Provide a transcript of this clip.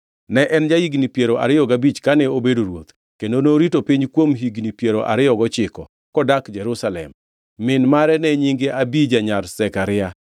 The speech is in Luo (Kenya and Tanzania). Ne en ja-higni piero ariyo gabich kane obedo ruoth, kendo norito piny kuom higni piero ariyo gochiko, kodak Jerusalem. Min mare ne nyinge Abija nyar Zekaria.